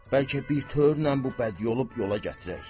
Bəlkə bir tövlə bu bədyolu yola gətirək.